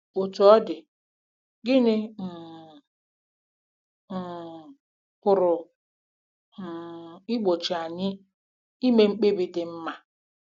Otú ọ dị, gịnị um um pụrụ um igbochi anyị ime mkpebi dị mma?